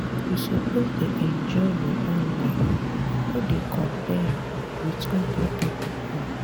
you suppose dey enjoy your own life no dey compare am wit oda pipo own.